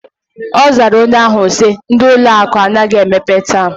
Ozara onye ahu si: Ndi ụlọ akụ anaghi emepe taa.